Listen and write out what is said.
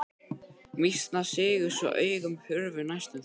Mýsnar sigu svo augun hurfu næstum því.